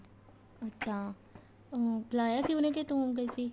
ਅੱਛਾ ਅਮ ਬੁਲਾਇਆ ਸੀ ਉਹਨੇ ਕੇ ਤੂੰ ਗਈ ਸੀ